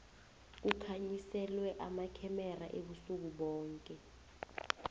kukhanyiselwe amakhemera ubusuku boke